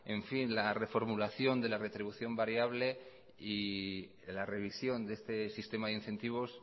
la reformulación de la retribución variable y la revisión de este sistema de incentivos